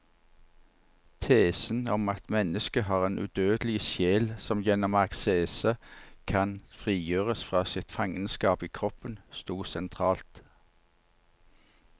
Tesen om at mennesket har en udødelig sjel som gjennom askese kan frigjøres fra sitt fangenskap i kroppen, stod sentralt.